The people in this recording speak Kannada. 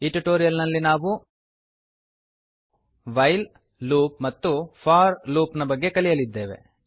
ಈ ಟ್ಯುಟೋರಿಯಲ್ ನಲ್ಲಿ ನಾವು ವೈಲ್ ಲೂಪ್ ಮತ್ತು ಫೋರ್ ಲೂಪ್ ನ ಬಗ್ಗೆ ಕಲಿಯಲಿದ್ದೇವೆ